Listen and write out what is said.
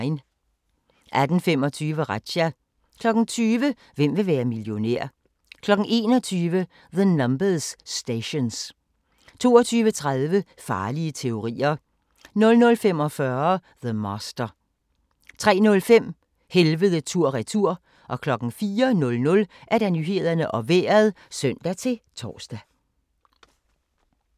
18:25: Razzia 20:00: Hvem vil være millionær? 21:00: The Numbers Stations 22:30: Farlige teorier 00:45: The Master 03:05: Helvede tur/retur 04:00: Nyhederne og Vejret (søn-tor)